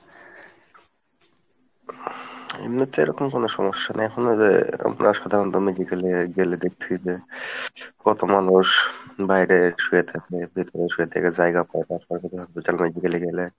এমনিতে ওরকম কোনো সমস্যা নেই এখন ঐযে আপনার সাধারণ গেলে দেখাছি যে কত মানুষ বাইরে শুয়ে থাকে ভেতরে শুয়ে থাকে জায়গা পায় না সরকারি hospital এ গেলে।